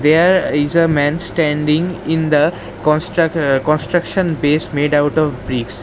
there is a man standing in the construc construction base made out of bricks.